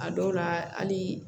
A dɔw la hali